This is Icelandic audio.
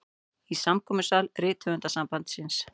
Í samkomusal Rithöfundasambandsins.